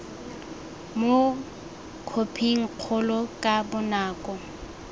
mo khophing kgolo ka bonako